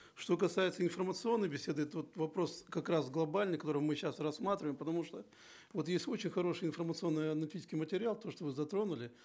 что касается информационной беседы тут вопрос как раз глобальный который мы сейчас рассматриваем потому что вот есть очень хороший информационно аналитический материал то что вы затронули